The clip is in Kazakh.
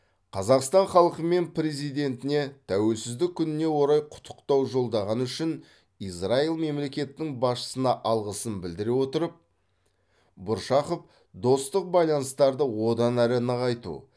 қазақстан халқы мен президентіне тәуелсіздік күніне орай құттықтау жолдағаны үшін израиль мемлекетінің басшысына алғысын білдіре отырып бұршақов достық байланыстарды одан әрі нығайту